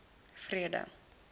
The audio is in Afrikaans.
vrede